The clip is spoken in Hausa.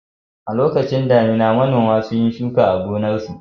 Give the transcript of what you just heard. A lokacin damuna, manoma sun yi shuka a gonarsu.